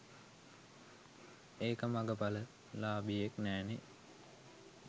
එක මගපල ලාභියෙක් නෑනේ